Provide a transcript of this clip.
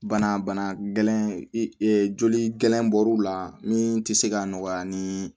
Bana bana gɛlɛn joli gɛlɛnbɔw la min tɛ se ka nɔgɔya ni